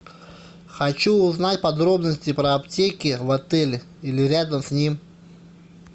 хочу узнать подробности про аптеки в отеле или рядом с ним